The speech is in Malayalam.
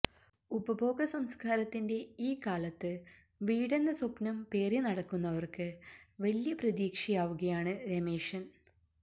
ഉപഭോഗ സംസ്കാരത്തിന്റെ ഈ കാലത്ത് വീടെന്ന സ്വപ്നം പേറി നടക്കുന്നവര്ക്ക് വല്യ പ്രതീക്ഷയാവുകയാണ് രമേശന്